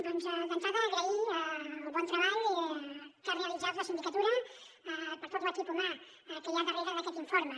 doncs d’entrada agrair el bon treball que ha realitzat la sindicatura per tot l’equip humà que hi ha darrere d’aquest informe